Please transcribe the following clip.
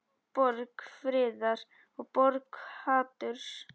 Borg friðar og borg haturs.